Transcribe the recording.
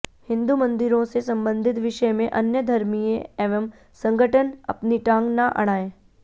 हिन्दू मंदिरों से संबंधित विषय में अन्य धर्मिय एवं संघटन अपनी टांग ना अडाएं